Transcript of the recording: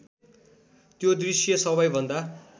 त्यो दृश्य सबैभन्दा